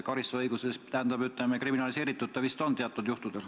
Karistusõiguse seisukohalt on see kriminaliseeritud vist teatud juhtudel.